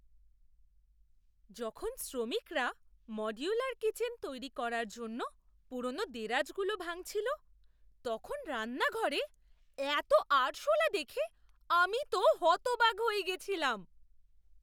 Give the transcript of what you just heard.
যখন শ্রমিকরা modular kitchen তৈরি করার জন্য পুরোনো দেরাজগুলো ভাঙছিল, তখন রান্নাঘরে এত আরশোলা দেখে আমি তো হতবাক হয়ে গিয়েছিলাম।